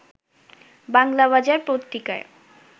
বাংলাবাজার পত্রিকায়